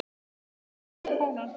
Mig gleður flóran og fánan.